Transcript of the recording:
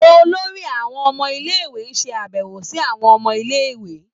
Olórí àwọn ọmọ ilé-ìwé ń ṣe àbẹ̀wò sí àwọn ọmọ ilé - ìwé.